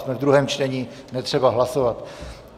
Jsme ve druhém čtení, netřeba hlasovat.